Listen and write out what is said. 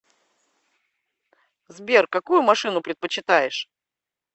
сбер какую машину предпочитаешь